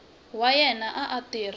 wa yena a a tirha